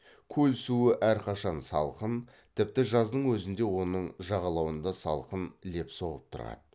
көл суы әрқашан салқын тіпті жаздың өзінде оның жағалауында салқын леп соғып тұрады